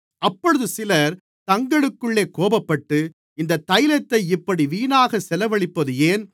அப்பொழுது சிலர் தங்களுக்குள்ளே கோபப்பட்டு இந்தத் தைலத்தை இப்படி வீணாகச் செலவழிப்பது ஏன்